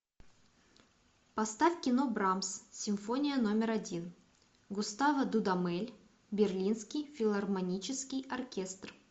поставь кино брамс симфония номер один густаво дудамель берлинский филармонический оркестр